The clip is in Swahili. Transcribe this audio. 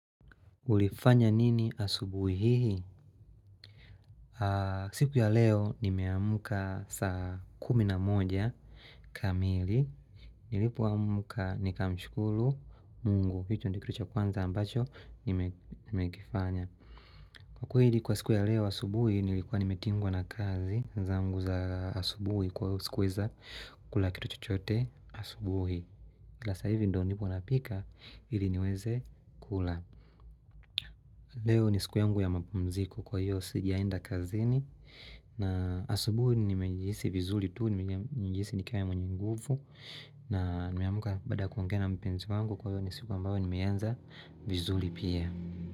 Ulifanya nini asubuhi hii? Siku ya leo nimeamuka saa kumi na moja kamili. Nilipo amka nikamshukuru mungu. Hicho ndicho kitucha kwanza ambacho nime kifanya. Kwa kweli kwa siku ya leo asubuhi nilikuwa nimetingwa na kazi zanguza asubuhi kwa hivo sikuweza kula kitu chuchote asubuhi. Ila sasa hivi ndo nipo napika ili niweze kula. Leo ni siku yangu ya mapumziku kwa hiyo sijaenda kazini. Na asubuhi ni mejihisi vizuri tuu ni mejihisi nikawa mwenye nguvu. Na nimeamka baada ya kuongea mpenzi wangu kwa hivyo ni siku ambayo ni meianza vizuri pia.